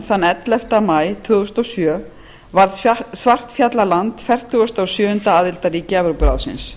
evrópuráðinu ellefta maí tvö þúsund og sjö varð svartfjallaland fertugasta og sjöunda aðildarríki evrópuráðsins